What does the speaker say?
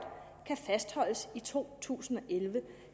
kan fastholdes i to tusind og elleve